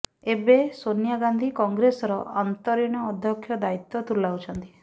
ଏବେ ସୋନିଆ ଗାନ୍ଧୀ କଂଗ୍ରେସର ଅନ୍ତରୀଣ ଅଧ୍ୟକ୍ଷ ଦାୟିତ୍ୱ ତୁଲାଉଛନ୍ତି